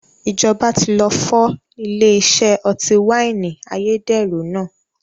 Ìjọba tí lọ fọ́ ilé iṣẹ́ ọtí wáìnì ayédèrú náà